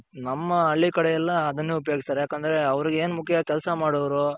ಹಾ ನಮ್ಮ ಹಳ್ಳಿ ಕಡೆ ಎಲ್ಲ ಅದನ್ನೇ ಉಪಯೋಗಿಸ್ತಾರೆ ಯಾಕಂದ್ರೆ ಅವರ್ಗೆ ಏನ್ ಮುಖ್ಯ ಕೆಲ್ಸ ಮಾಡೋವ್ರು.